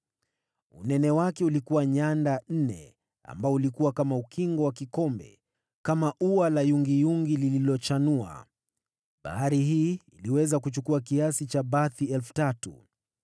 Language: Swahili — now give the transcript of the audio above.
Unene wake ulikuwa nyanda nne, na ukingo wake ulifanana na ukingo wa kikombe, kama ua la yungiyungi iliyochanua. Iliweza kuchukua bathi 3,000.